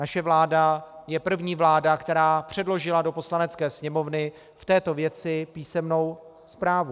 Naše vláda je první vláda, která předložila do Poslanecké sněmovny v této věci písemnou zprávu.